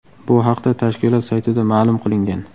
Bu haqda tashkilot saytida ma’lum qilingan .